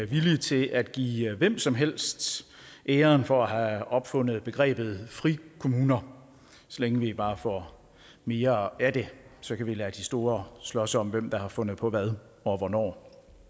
villige til at give hvem som helst æren for at opfundet begrebet frikommuner så længe vi bare får mere af det så kan vi lade de store slås om hvem der har fundet på hvad og hvornår